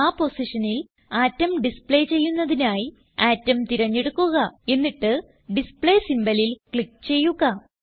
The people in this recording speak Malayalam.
ആ പൊസിഷനിൽ ആറ്റം ഡിസ്പ്ലേ ചെയ്യുന്നതിനായി അട്ടോം തിരഞ്ഞെടുക്കുക എന്നിട്ട് ഡിസ്പ്ലേ symbolൽ ക്ലിക്ക് ചെയ്യുക